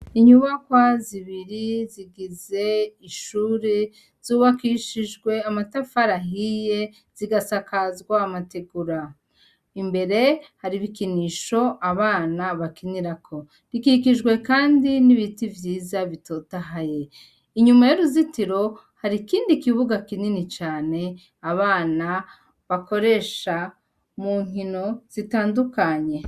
Inyubakwa zibiri zigize ishure zubakishijwe amatafari ahiye zigasakazwa amategura imbere hari ibikinisho abana bakinirako rikikijwe, kandi n'ibiti vyiza bitotahaye inyuma y'uruzitiro hari ikindi kibuga kinini cane abana bakoresha mu nkino zitandukanye.